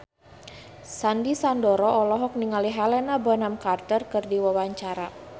Sandy Sandoro olohok ningali Helena Bonham Carter keur diwawancara